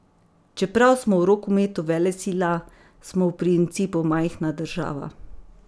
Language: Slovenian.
Čeprav smo v rokometu velesila, smo v principu majhna država.